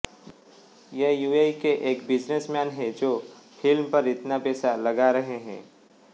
ये यूएई के एक बिज़नेसमैन हैं जो फिल्म पर इतना पैसा लगा रहे हैं